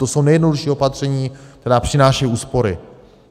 To jsou nejjednodušší opatření, která přinášejí úspory.